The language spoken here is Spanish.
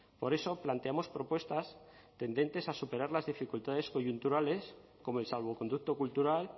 por eso planteamos propuestas tendentes a superar las dificultades coyunturales como el salvoconducto cultural